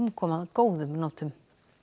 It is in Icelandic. kom að góðum notum